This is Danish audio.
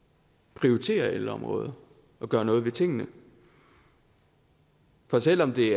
prioritere ældreområdet og gøre noget ved tingene for selv om det